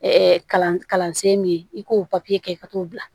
kalansen min ye i k'o papiye kɛ ka t'o bila